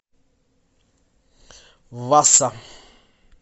васса